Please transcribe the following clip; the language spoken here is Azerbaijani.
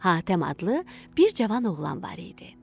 Hatəm adlı bir cavan oğlan var idi.